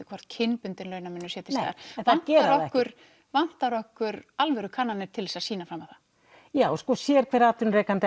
kynbundinn launamunur sé til staðar vantar okkur kannanir til að sýna það já sérhver atvinnurekandi